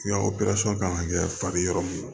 kan ka kɛ fari yɔrɔ min na